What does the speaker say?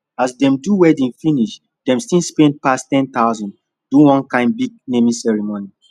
as dem do wedding finish dem still spend pass 10000 do one kind big naming ceremony